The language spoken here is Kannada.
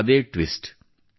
ಅದೇ ಟ್ವಿಸ್ಟ್